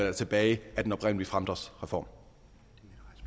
er tilbage af den oprindelige fremdriftsreform